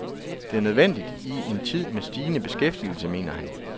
Det er nødvendigt i en tid med stigende beskæftigelse, mener han.